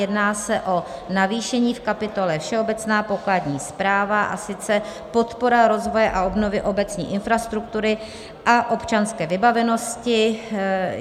Jedná se o navýšení v kapitole Všeobecná pokladní správa, a sice podpora rozvoje a obnovy obecní infrastruktury a občanské vybavenosti.